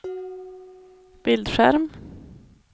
bildskärm